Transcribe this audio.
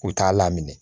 U t'a lamini